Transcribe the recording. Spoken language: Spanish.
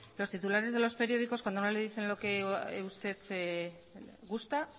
los titulares de los periódicos cuando no le dicen lo que usted gusta